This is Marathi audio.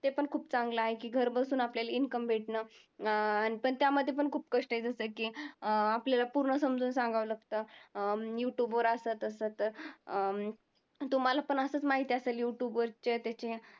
ते पण खूप चांगलं आहे की घर बसून आपल्याला income भेटणं अं पण त्यामध्ये पण खूप कष्ट आहे जसं की अं आपल्याला पूर्ण समजून सांगावं लागतं. अं YouTube वर असं तसं तर अं तुम्हाला पण असंच माहिती असेल YouTube वरचे त्याचे.